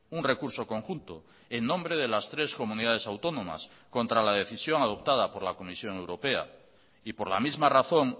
un recurso conjunto en nombre de las tres comunidades autónomas contra la decisión adoptada por la comisión europea y por la misma razón